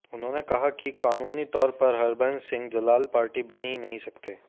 उन्होंने कहा कि कानूनी तौर पर हरबंस सिंह जलाल पार्टी बन ही नहीं सकते